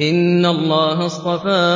۞ إِنَّ اللَّهَ اصْطَفَىٰ